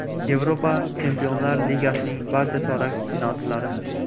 Yevropa Chempionlar Ligasining barcha chorak finalchilari.